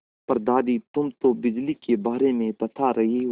पर दादी तुम तो बिजली के बारे में बता रही हो